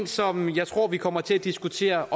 som jeg tror vi kommer til at diskutere